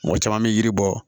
Mɔgɔ caman bɛ yiri bɔ